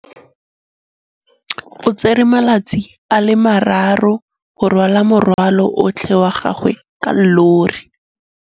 O tsere malatsi a le marraro go rwala morwalo otlhe wa gagwe ka llori.